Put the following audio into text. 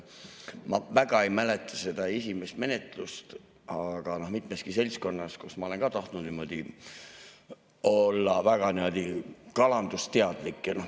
Ma väga ei mäleta seda esimest menetlust, aga mitmeski seltskonnas ma olen tahtnud olla niimoodi väga kalandusteadlik.